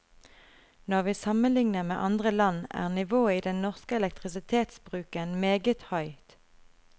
Når vi sammenligner med andre land, er nivået i den norske elektrisitetsbruken meget høyt.